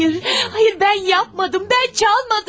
Xeyr, xeyr, mən etmədim, mən çalmadım!